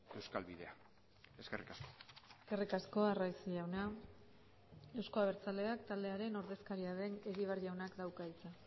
euskal bidea eskerrik asko eskerrik asko arraiz jauna euzko abertzaleak taldearen ordezkaria den egibar jaunak dauka hitza